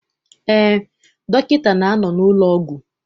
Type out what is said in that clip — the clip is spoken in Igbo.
Eé, dọkịta na-anọ n'ụlọọgwụ.